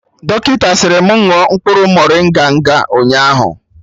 Dọkịta sịrị mụ ṅụọ mkpụrụ morịnga nga ụnyaahụ